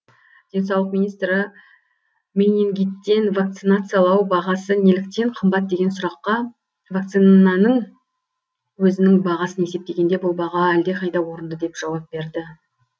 денсаулық министрі менингиттен вакцинациялау бағасы неліктен қымбат деген сұраққа вакцинаның өзінің бағасын есептегенде бұл баға әлдеқайда орынды деп жауап берді